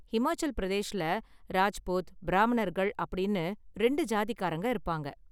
ஹிமாச்சல் பிரதேஷ்ல ராஜ்புத், பிராமணர்கள் அப்படின்னு ரெண்டு சாதிக்காரங்க இருப்பாங்க.